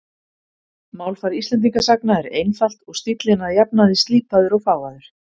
Málfar Íslendingasagna er einfalt og stíllinn að jafnaði slípaður og fágaður.